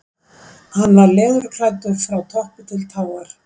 Hann var leðurklæddur frá toppi til táar.